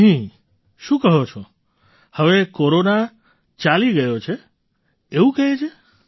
નહીંશું કહો છો હવે કોરોના ચાલી ગયો એવું કહે છે